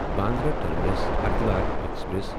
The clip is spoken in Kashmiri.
Bandra terminus Haridwar express